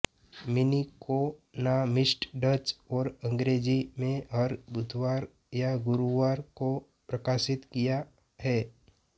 मिनीकॉनामिस्ट Dutch और अंग्रेजी में हर बुधवार या गुरुवार को प्रकाशित किया है